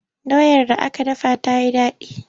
Doyar da aka dafa ta yi daɗi.